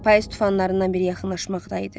Payız tufanlarından biri yaxınlaşmaqdaydı.